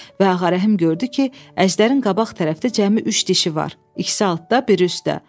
Və Ağa Rəhim gördü ki, Əjdərin qabaq tərəfdə cəmi üç dişi var, ikisi altdə, biri üstdə.